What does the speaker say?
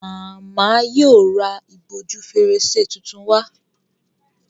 Màmá yíò rá ìbòjú Fèrèsé títún wá.